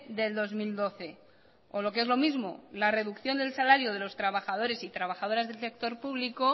del dos mil doce o lo que es lo mismo la reducción del salario de los trabajadores y trabajadoras del sector público